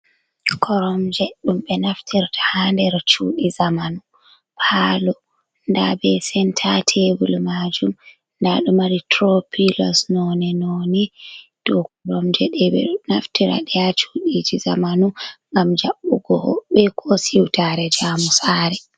Koromje ɗum ɓe naftirta ha nder chuɗii zamanu palo nda be senta tebul majum, nda ɗo mari tropilos none noni, dou koromje ɗe ɓe ɗo naftira nde ha chuɗii zamanu ngam jaɓɓugo hoɓɓe ko siwtare jaamu saare.